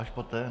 Až poté?